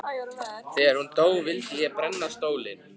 Þegar hún dó vildi ég brenna stólinn.